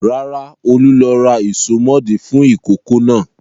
Rárá, Olú ló ra ìsomọ́ọ̀dí fún ìkókó náà.